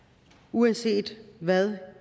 uanset hvad